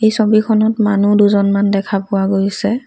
এই ছবিখনত মানুহ দুজনমান দেখা পোৱা গৈছে।